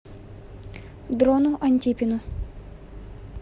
дрону антипину